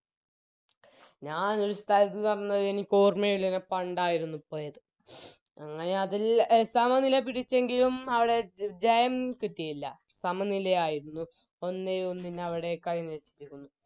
ഞാനൊരു സ്ഥലം പറഞ്ഞത് എനിക്കോർമയുള്ളത് പണ്ടായിരുന്നു പോയത് അങ്ങനെ അതിൽ എ സമനില പിടിച്ചെങ്കിലും അവിടെ ജയം കിട്ടില്ല സമനിലയായിരുന്നു ഒന്നേ ഒന്നിന് അവിടെ കളി നിർത്തിയിരുന്നു